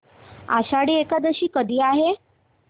आषाढी एकादशी कधी आहे